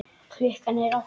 Klukkan er átta.